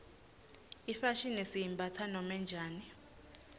ifashini siyimbatsa noma njani